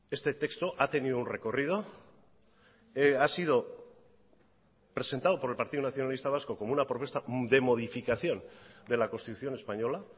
este texto ha tenido un recorrido ha sido presentado por el partido nacionalista vasco como una propuesta de modificación de la constitución española